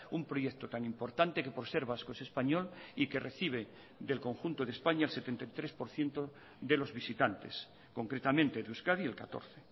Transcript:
un proyecto tan importante que por ser vasco es español y que recibe del conjunto de españa el setenta y tres por ciento de los visitantes concretamente de euskadi el catorce